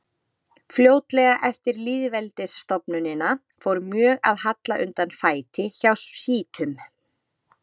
Fljótlega eftir lýðveldisstofnunina fór mjög að halla undan fæti hjá sjítum.